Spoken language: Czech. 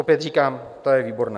Opět říkám, to je výborné!